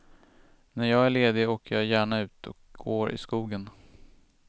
När jag är ledig åker jag gärna ut och går i skogen.